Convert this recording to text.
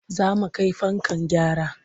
Za mu kai fanka gyara.